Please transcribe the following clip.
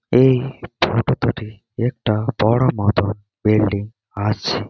এই সাইড -এ দুটি একটা বড় মত বিল্ডিং আছে।